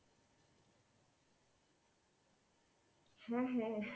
হ্যাঁ হ্যাঁ,